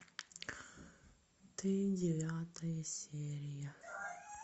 ты девятая серия